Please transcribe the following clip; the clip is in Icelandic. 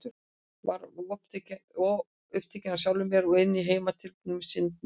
Ég var of upptekin af sjálfri mér og hinni heimatilbúnu synd minni.